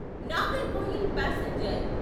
Nagercoil passenger